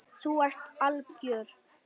Þú ert algjör!